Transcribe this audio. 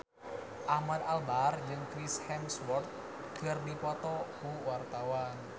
Ahmad Albar jeung Chris Hemsworth keur dipoto ku wartawan